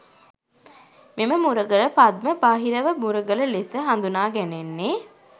මෙම මුරගල පද්ම බහිරව මුරගල ලෙස හඳුනා ගැනෙන්නේ